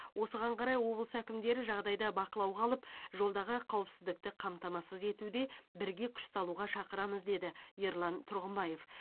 осыған қарай облыс әкімдері жағдайды бақылауға алып жолдағы қауіпсіздікті қамтамасыз етуде бірге күш салуға шақырамыз деді ерлан тұрғымбаев